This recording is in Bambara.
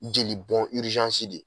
Jeli bɔn de